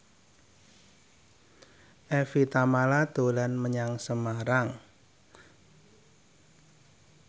Evie Tamala dolan menyang Semarang